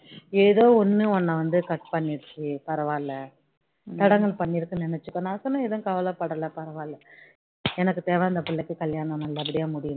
தடங்கல் பண்ணிடுச்சின்னு நினைச்சிக்கோ நான் சொன்னேன் எதும் கவலை படல பரவாயில்ல எனக்கு தேவை அந்த பிள்ளைக்கு கல்யாணம் நல்ல படியா முடியனும்